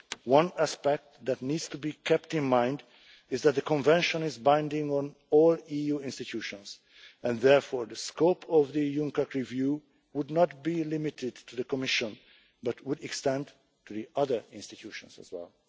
One aspect that needs to be kept in mind is that the Convention is binding on all EU institutions, and therefore the scope of the UNCAC review would not be limited to the Commission but would extend to the other institutions as well.